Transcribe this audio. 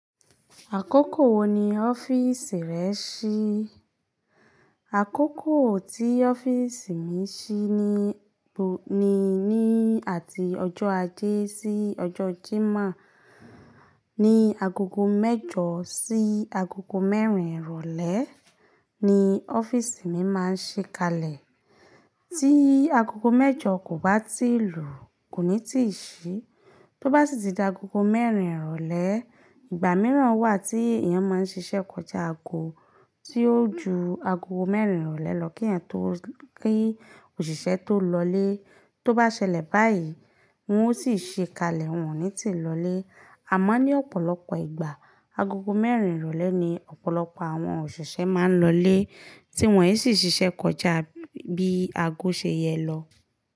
Àkókò wo ni ọ́fíìsì rẹ ṣí? Àkókò tí ọ́fíìsì mi ṣí ní, ni ní àti ọjọ́ ajé sí ọjọ́ Jímọ̀. Ni agogo mẹ́jọ sí agogo mẹ́rin ìrọ̀lẹ́ ni ọ́fíìsì mi máa ń ṣí kalẹ̀. Tí agogo mẹ́jọ kò bá tíì lù, kò ní tíì ṣí. Tó bá sì ti da agogo mẹ́rin ìrọ̀lẹ́, ìgbà mìíràn wà tí èèyàn máa ń ṣiṣẹ́ kọjá aago tí ó jù ago mẹ́rin ìrọ̀lẹ́ lọ kí èèyàn tó, kí òṣìṣẹ́ tó lọlé. Tó bá ṣẹlẹ̀ báyìí, wọn ó sì ṣí kalẹ̀, wọn ò ní tì lọlé. Àmọ́ ní ọ̀pọ̀lọpọ̀ ìgbà, agogo mẹ́rin ìrọ̀lẹ́ ni ọ̀pọ̀lọpọ̀ àwọn òṣìṣẹ́ máa ń lọ lé, tí wọ́n ọ sì ṣiṣẹ́ kọjá bií ago ṣe yẹ lọ.